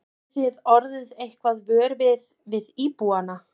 Hafið þið orðið eitthvað vör við, við íbúana?